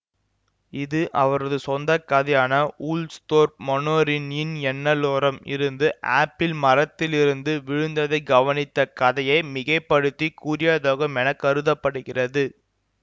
இது அவரது சொந்த கதையான வூல்ஸ்தோர்ப் மனோரின்யின் யன்னலோரம் இருந்து ஆப்பிள் மரத்திலிருந்து விழுந்ததைக் கவனித்த கதையை மிகைப் படுத்தி கூறியதகும் என கருத படுகிறது